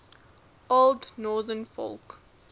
old northern folk